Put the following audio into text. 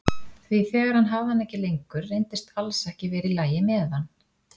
Því þegar hann hafði hana ekki lengur reyndist alls ekki vera í lagi með hann.